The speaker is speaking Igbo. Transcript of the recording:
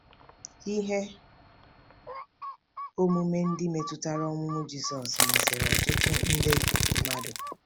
Ihe omume ndị metụtara ọmụmụ Jizọs masịrị ọtụtụ nde mmadụ.